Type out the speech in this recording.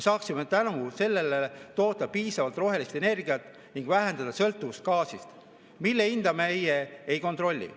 Tänu sellele saaksime toota piisavalt rohelist energiat ning vähendada sõltuvust gaasist, mille hinda meie ei kontrolli.